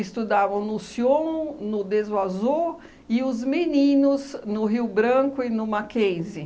Estudavam no Sion, no Deso Azo, e os meninos no Rio Branco e no Mackenzie